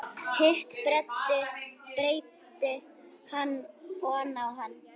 Hitt breiddi hann oná hann.